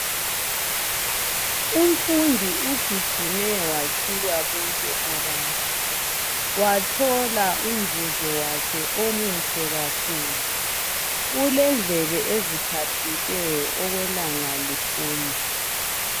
Umfundi ugijime watshiya bonke abanye, wathola umvuzo wakhe omuhle kakhulu .Ulendlebe eziphaphileyo okwelanga liphuma.